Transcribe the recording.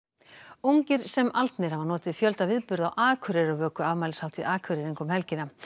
ungir sem aldnir hafa notið fjölda viðburða á Akureyrarvöku afmælishátíð Akureyringa um helgina